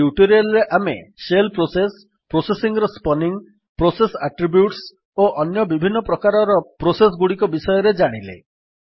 ଏହି ଟ୍ୟୁଟୋରିଆଲ୍ ରେ ଆମେ ଶେଲ୍ ପ୍ରୋସେସ୍ ପ୍ରୋସେସ୍ ର ସ୍ପନିଙ୍ଗ୍ ପ୍ରୋସେସ୍ ଆଟ୍ରିବ୍ୟୁଟ୍ସ ଓ ବିଭିନ୍ନ ପ୍ରକାରର ପ୍ରୋସେସ୍ ଗୁଡିକ ବିଷୟରେ ଜାଣିଲେ